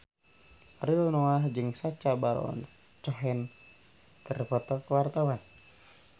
Ariel Noah jeung Sacha Baron Cohen keur dipoto ku wartawan